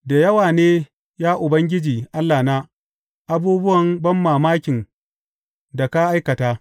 Da yawa ne, ya Ubangiji Allahna, abubuwan banmamakin da ka aikata.